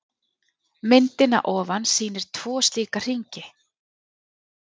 Myndin að ofan sýnir tvo slíka hringi.